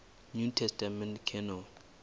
new testament canon